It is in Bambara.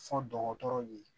Fɔ dɔgɔtɔrɔw ye